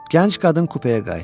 Gənc qadın kupaya qayıtdı.